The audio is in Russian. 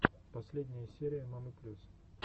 последняя серия мамы плюс